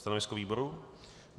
Stanovisko výboru?